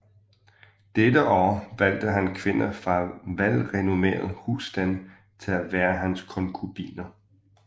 Dette år valgte han kvinder fra velrenommerede husstande til at være hans konkubiner